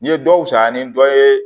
N ye dɔw sa ni dɔ ye